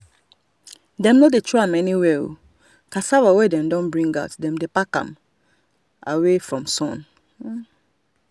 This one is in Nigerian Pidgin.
dem no dey throw am anywhere cassava wey dem don bring out dem dey pack am away from sun. um